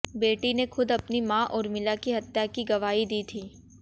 बेटी ने खुद अपनी मां उर्मिला की हत्या की गवाही दी थी